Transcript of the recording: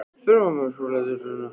spurði mamma og skolaði af diskunum.